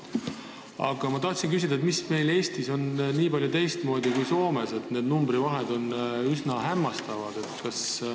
Aga ma tahtsin küsida, mis meil Eestis on nii palju teistmoodi kui Soomes, et need numbrite vahed on üsna hämmastavad.